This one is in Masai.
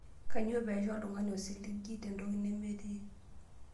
Kainyioo pee aisho oltung'ani osiligi tentoki nemetii?